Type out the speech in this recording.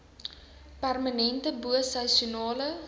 permanente bo seisoenale